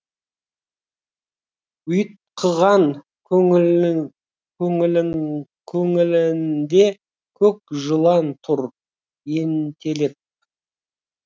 ұйтқыған көңілінде көк жылан тұр ентелеп